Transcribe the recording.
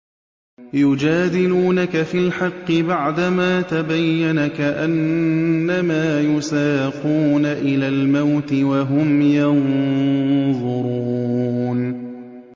يُجَادِلُونَكَ فِي الْحَقِّ بَعْدَمَا تَبَيَّنَ كَأَنَّمَا يُسَاقُونَ إِلَى الْمَوْتِ وَهُمْ يَنظُرُونَ